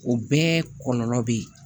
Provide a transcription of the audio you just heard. O bɛɛ kɔlɔlɔ be yen